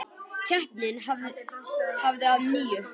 Keppni hafin að nýju